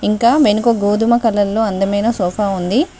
ఇంకా మెనుక గోధుమ కలర్ లో అందమైన సోఫా ఉంది.